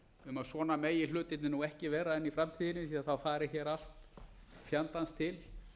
um að svona megi hlutirnir nú ekki vera inn í framtíðinni því þá fari hér allt fjandans til